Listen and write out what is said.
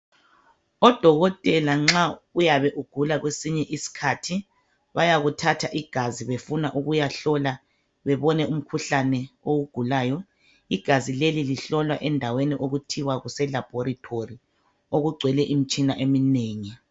Odokotela nxa uyabe ugula kwesinye iskhathi bayakuthatha igazi befuna ukuyakuhlola bebone umkhuhlane owugulayo igazi leli lihlolwa endaweni okuthiwa kuselaboratory okugcwele imitshina eminengi.